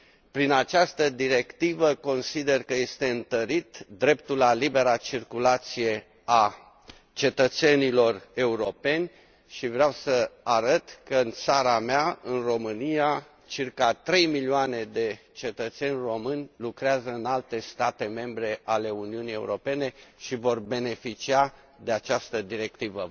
Prin această directivă consider că este întărit dreptul la libera circulație al cetățenilor europeni și vreau să arăt că în țara mea, în România, circa 3 milioane de cetățeni români lucrează în alte state membre ale Uniunii Europene și vor beneficia de această directivă.